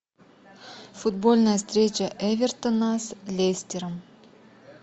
футбольная встреча эвертона с лестером